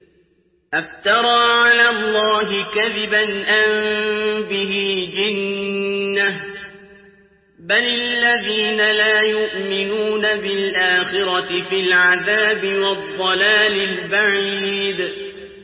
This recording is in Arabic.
أَفْتَرَىٰ عَلَى اللَّهِ كَذِبًا أَم بِهِ جِنَّةٌ ۗ بَلِ الَّذِينَ لَا يُؤْمِنُونَ بِالْآخِرَةِ فِي الْعَذَابِ وَالضَّلَالِ الْبَعِيدِ